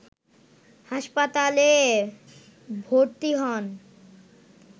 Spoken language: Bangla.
হাসপাতলে ভর্তি হন